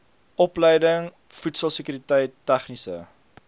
opleiding voedselsekuriteit tegniese